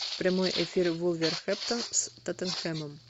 прямой эфир вулверхэмптон с тоттенхэмом